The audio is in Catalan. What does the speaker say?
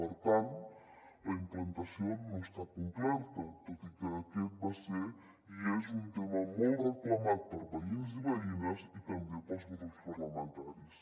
per tant la implantació no està completa tot i que aquest va ser i és un tema molt reclamat per veïns i veïnes i també pels grups parlamentaris